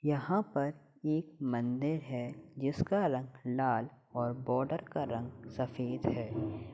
यहां पर एक मंदिर है जिसका रंग लाल और बॉर्डर का रंग सफेद है।